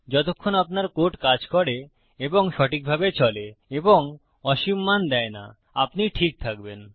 যতক্ষণ আপনার কোড কাজ করে এবং সঠিকভাবে চলে এবং অসীম মান দেয় না আপনি ঠিক থাকবেন